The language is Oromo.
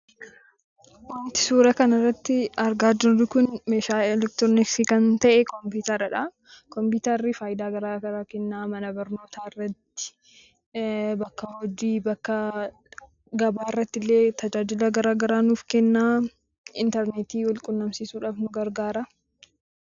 Wanti suuraa kanarratti argaa jirru kun meeshaa elektirooniksii kan ta'e kompiitaraadha. Kompiitarri faayidaa garaa garaa kenna. Mana barnootaarratti , bakka hojii bakka gabaarrattillee tajaajila garagaraa nuuf kenna. Interneetii walquunnamsiisuudhaaf nu gargaaraa.